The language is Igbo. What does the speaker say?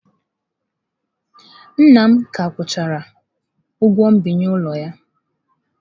Nna m ka akwụchara ụgwọ mbinye ụlọ ya.